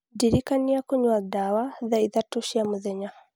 ndirikania kũnyua ndawa thaa ithatũ cia mũthenya